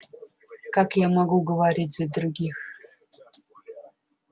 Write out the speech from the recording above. как я могу говорить за других